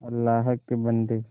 अल्लाह के बन्दे